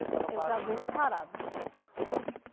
Estava para. Eu já vim na parada.